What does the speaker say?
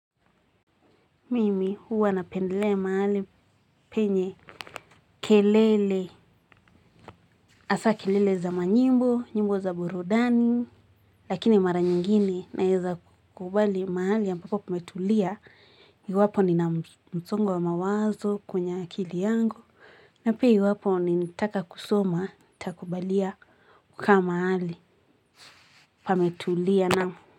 Mimi huwa napendelea mahali penye kelele, hasa kelele za manyimbo, nyimbo za burudani, lakini mara nyingine na weza kukubali mahali a mbapo pametulia. Iwapo ni na msongo wa mawazo kwenye akili yangu, na piaiwapo ni nataka kusoma, nitakubalia kukama mahali pametulia naam.